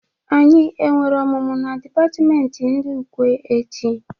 Anyị e nwere ọmụmụ na dipatmenti ndị Ụkwe echi?